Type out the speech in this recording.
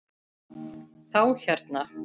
Þá hérna.